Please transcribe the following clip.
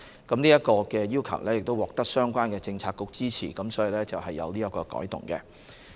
這個要求獲得相關政策局支持，所以作出了這樣的改動。